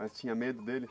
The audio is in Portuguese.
Mas tinha medo dele?